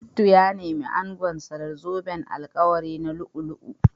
Shittu ya nemi angonsa da zoben alkawari na lu'u-lu'u